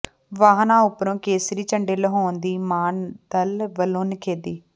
ਵਾਹਨਾਂ ਉੱਪਰੋਂ ਕੇਸਰੀ ਝੰਡੇ ਲੁਹਾਉਣ ਦੀ ਮਾਨ ਦਲ ਵੱਲੋਂ ਨਿਖੇਧੀ